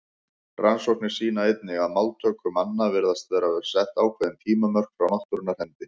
Rannsóknir sýna einnig að máltöku manna virðast vera sett ákveðin tímamörk frá náttúrunnar hendi.